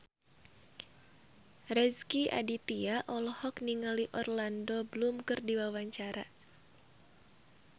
Rezky Aditya olohok ningali Orlando Bloom keur diwawancara